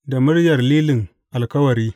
Da muryar Lilin Alkawari.